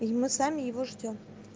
и мы сами его ждём